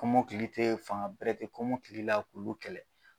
Kɔmɔkili tɛ fanga bɛrɛtɛ kɔmɔkili la kulu kɛlɛ.